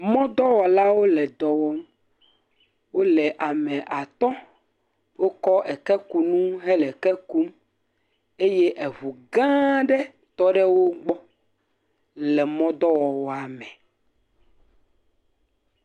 Mɔdɔwɔlawo le dɔwɔm, eye wole ame atɔ̃, wokɔ ekekunu eye wole eke kum, eye eŋu gã aɖe tɔ ɖe wo gbɔ le mɔ dɔwɔwɔa me.